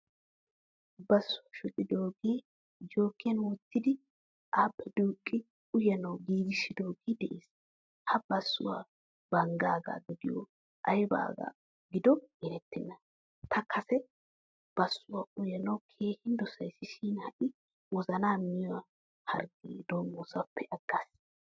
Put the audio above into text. Bassuwaa shoccidoge jookiyan wottidi appe duqqidi uyanawu giigisidoge de'ees. Ha bassoy banggaaga gido, aybaaga gido erettena. Ta kase bassuwaa uyanawu keehin dosaysi shin hai wozana miyaa hargge dommosappe aggas.